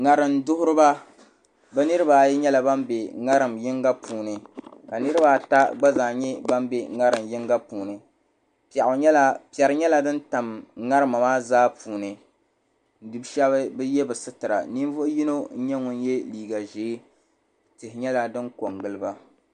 ŋarim duɣuriba bi niraba ayi nyɛla ban bɛ ŋarim yinga puuni ka niraba ata gba zaa nyɛ ban bɛ ŋarim yinga puuni piɛri nyɛla din tam ŋarima maa zaa puuni bi shab bi yɛ bi sitira ninvuɣu yino n nyɛ ŋun yɛ liiga ʒiɛ tihi nyɛla din ko n giliba